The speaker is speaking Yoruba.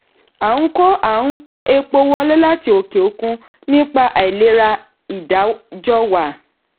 a n kó a n kó epo wọlé láti òkè òkun nípa àìlera ìdájọ́wà.